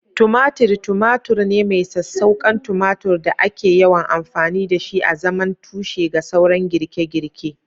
Tumatir tumatur ne mai sassauƙan tumatur da ake yawan amfani da shi azaman tushe ga sauran girke-girke.